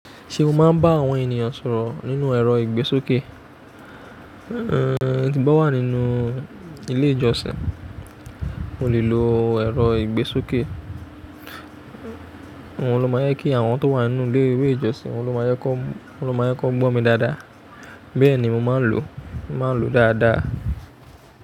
Ṣé o máa ń bá àwọn ènìyàn sọ̀rọ̀ nínú ẹ̀rọ ìgbésókè? Ehn, tí mo bá wà nínú ilé ìjọsìn, mo lè lo ẹ̀rọ ìgbésókè. Ohun ni ó máa yẹ kí àwọn tó wà nínú ilé ìwé ìjọsìn, wọn ni ó máa yẹ kó, wọn ni ó máa yẹ kó gbó mi dáadáa. Bẹ́ẹ̀ ni mo máa ń lò, màá ń lo dáadáa.